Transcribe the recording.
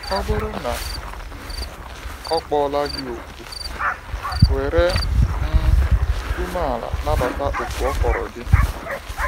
Ọ bụrụ na ọ kpọla gị òkù, were um umeala nabata òkù ọ kpọrọ gị.